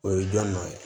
O ye dɔnni dɔ ye